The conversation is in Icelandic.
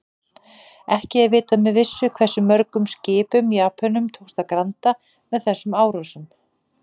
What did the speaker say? Ekki er vitað með vissu hversu mörgum skipum Japönum tókst að granda með þessum árásum.